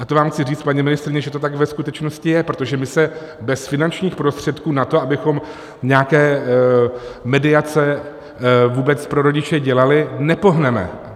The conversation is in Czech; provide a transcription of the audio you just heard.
A to vám chci říct, paní ministryně, že to tak ve skutečnosti je, protože my se bez finančních prostředků na to, abychom nějaké mediace vůbec pro rodiče dělali, nepohneme.